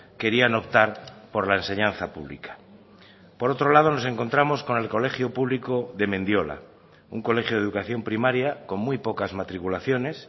querían optar por la enseñanza pública por otro lado nos encontramos con el colegio público de mendiola un colegio de educación primaria con muy pocas matriculaciones